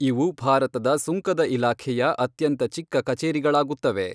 ಇವು ಭಾರತದ ಸುಂಕದ ಇಲಾಖೆಯ ಅತ್ಯಂತ ಚಿಕ್ಕ ಕಚೇರಿಗಳಾಗುತ್ತವೆ.